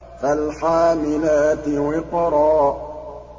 فَالْحَامِلَاتِ وِقْرًا